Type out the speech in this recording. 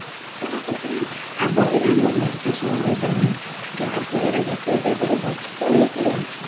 ଆବର୍ଜନା ଆମର ନିଷ୍କାସନ ହେଇପାରୁନି ଯାହା ଫଳରେ ଗୋଟେ ଜାଗାରେ ଗଚ୍ଛିତ ହେଇକି ରହୁଚି